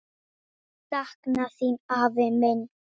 Sakna þín, afi minn.